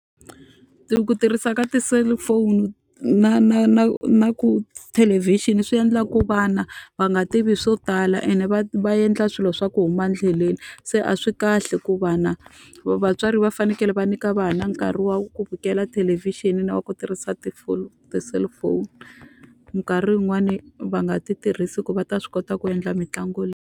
ku tirhisa ka ti-cellphone na na na na ku tithelevhixini swi endlaku vana va nga tivi swo tala ene va va endla swilo swa ku huma endleleni. Se a swi kahle ku vana va vatswari va fanekele va nyika vana nkarhi wa ku vukela thelevhixini na va ku tirhisa ti ti-cellphone. Minkarhi yin'wani va nga ti tirhisi ku va ta swi kota ku endla mitlangu .